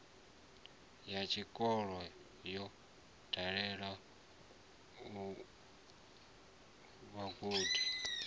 ya tshikolo yo dalela vhagudi